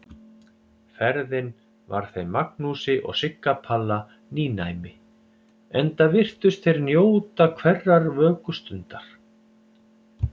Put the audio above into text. Ferðin var þeim Magnúsi og Sigga Palla nýnæmi, enda virtust þeir njóta hverrar vökustundar.